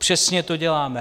Přesně to děláme.